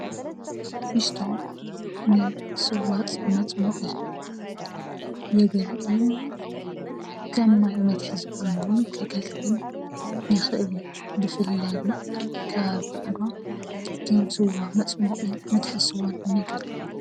ፊስቶ ንስዋ መፅሞቂ የገልግል፡፡ ከም ማይ መትሐዚ ኮይኑ የገልግል ይክእል እዩ፡፡ ብፍላይ ድማ ኣብ ከባቢ ዓድዋ ከም ስዋ መፅሟቂን መትሓዚ ስዋን ኮይኑ የገልግል፡፡